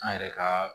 An yɛrɛ ka